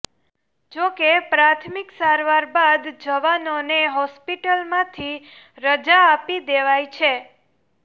જો કે પ્રાથમિક સારવાર બાદ જવાનોને હોસ્પિટલમાંથી રજા આપી દેવાઈ છે